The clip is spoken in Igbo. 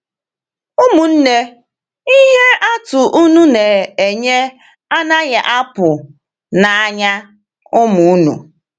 Ụmụnne, ihe atụ unu na-enye anaghị apụ n’anya ụmụ unu.